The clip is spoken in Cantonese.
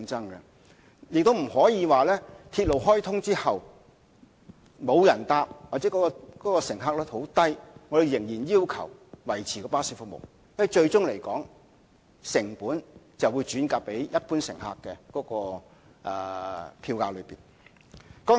我們亦不可以在鐵路開通後，即使沒有人乘搭巴士或巴士的乘客量很低，而仍然要求巴士維持服務，因為成本最終會轉嫁到一般乘客的票價上。